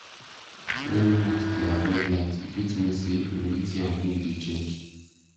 when moths dey avoid light e fit mean say humidity and wind dey change